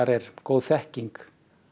er góð þekking